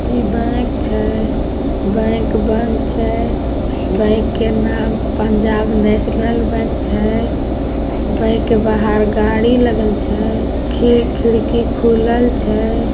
इ बैंक छै बैंक बंद छै बैंक का नाम पंजाब नेशनल बैंक छै| बैंक के बाहर गाड़ी लगल छै खि-खिड़की खुलल छै|